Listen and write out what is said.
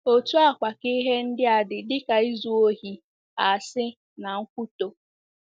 Otú a kwa ka ihe ndia dị dịka izu ohi, asi, na nkwutọ.